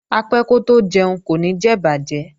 Apẹ́ kótó jẹun kò ní jẹ ìbàjẹ́